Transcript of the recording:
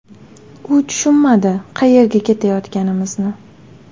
U tushunmadi qayerga ketayotganimizni.